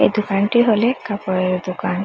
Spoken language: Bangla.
এই দোকানটি হলে কাপড়ের দোকান।